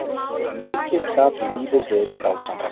Mikið gat lífið verið dásamlegt.